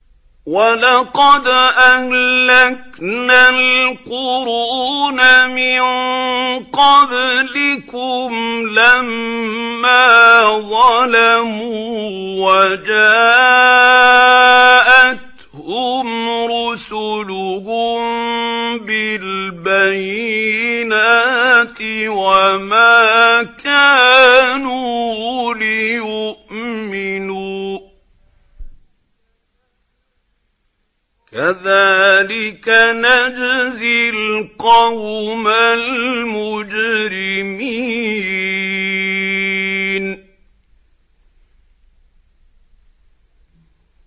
وَلَقَدْ أَهْلَكْنَا الْقُرُونَ مِن قَبْلِكُمْ لَمَّا ظَلَمُوا ۙ وَجَاءَتْهُمْ رُسُلُهُم بِالْبَيِّنَاتِ وَمَا كَانُوا لِيُؤْمِنُوا ۚ كَذَٰلِكَ نَجْزِي الْقَوْمَ الْمُجْرِمِينَ